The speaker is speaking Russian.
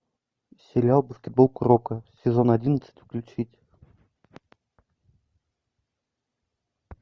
сериал баскетбол куроко сезон одиннадцать включить